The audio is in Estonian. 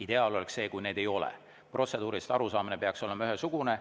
Ideaal oleks see, kui neid ei ole, protseduuridest arusaamine peaks olema ühesugune.